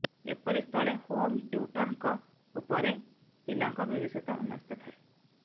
ଏପରି ସ୍ଥଳେ ହୋମ୍ ଟ୍ୟୁଟର୍ଙ୍କ ଉପରେ ପିଲାଙ୍କ ଭବିଷ୍ୟତ ନ୍ୟସ୍ତ ଥାଏ